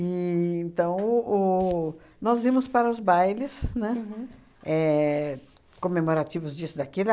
então o, nós íamos para os bailes, né, éh comemorativos disso, daquilo